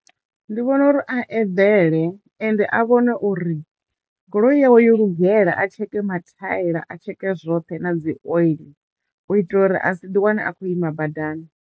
Ndi vhona uri a eḓele ende a vhone uri goloi yawe yo lugela a tsheke mathaela a tsheke zwoṱhe na dzi oiḽi u itela uri a si ḓi wane a khou ima badani.